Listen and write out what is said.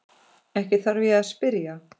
Ekki þarf ég að spyrja.